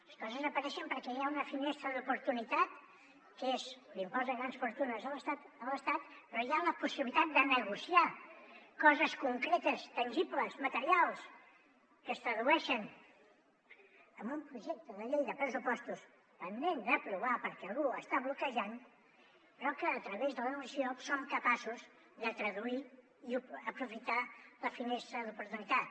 les coses apareixen perquè hi ha una finestra d’oportunitat que és l’impost de grans fortunes a l’estat però hi ha la possibilitat de negociar coses concretes tangibles materials que es tradueixen en un projecte de llei de pressupostos pendent d’aprovar perquè algú l’està bloquejant però que a través de la negociació som capaços de traduir i aprofitar la finestra d’oportunitat